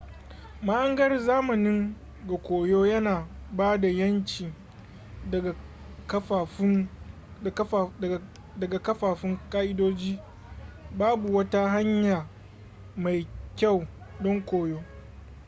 mahangar zamanin ga koyo yana ba da 'yanci daga kafaffun ƙa'idoji babu wata hanya mai kyau don koyo